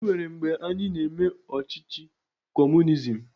E nwere mgbe anyị na-eme ọchịchị kọọmunizim.